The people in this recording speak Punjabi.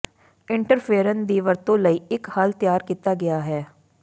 ਇੰਟਰਫੇਰਨ ਦੀ ਵਰਤੋਂ ਲਈ ਇੱਕ ਹੱਲ ਤਿਆਰ ਕੀਤਾ ਗਿਆ ਹੈ